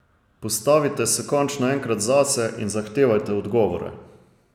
Postavite se končno enkrat zase in zahtevajte odgovore!